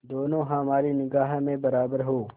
दोनों हमारी निगाह में बराबर हो